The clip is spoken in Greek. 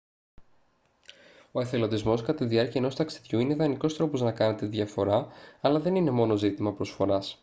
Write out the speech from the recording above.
ο εθελοντισμός κατά τη διάρκεια ενός ταξιδιού είναι ιδανικός τρόπος να κάνετε τη διαφορά αλλά δεν είναι μόνο ζήτημα προσφοράς